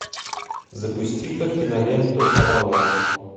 запусти ка киноленту авалон